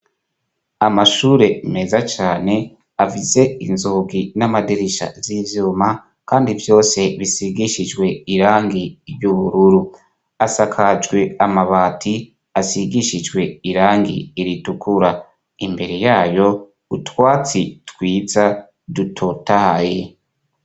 Amashure meza cane afise inzugi n'amadirisha z'ivyuma kandi vyose bisigishijwe irangi ry'ubururu. Asakajwe amabati asigishijwe irangi ritukura. Imbere y'ayo, utwatsi twiza dutotahaye.